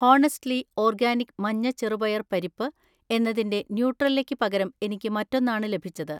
honestly organic മഞ്ഞ ചെറുപയർ പരിപ്പ് എന്നതിന്‍റെ ന്യൂട്രെല്ലക്ക് പകരം എനിക്ക് മറ്റൊന്നാണ് ലഭിച്ചത്